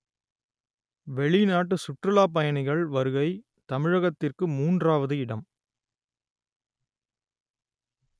வெளிநாட்டு சுற்றுலாப்பயணிகள் வருகை தமிழகத்திற்கு மூன்றாவது இடம்